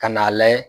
Ka n'a layɛ